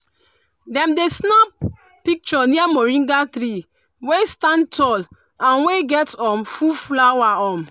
dem dey snap picture near moringa tree wey stand tall and wey get um full flower. um